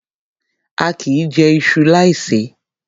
A kìí jẹ iṣu láì ṣe é.